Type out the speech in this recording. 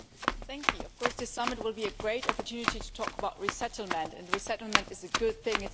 Madam President, of course this summit will be a great opportunity to talk about resettlement, and resettlement is a good thing.